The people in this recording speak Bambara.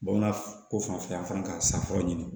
Bamanan ko fanfɛ yan fana ka san fɔlɔ ɲini